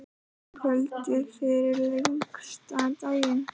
Kvöldið fyrir lengsta daginn.